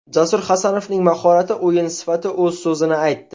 Jasur Hasanovning mahorati, o‘yin sifati o‘z so‘zini aytdi.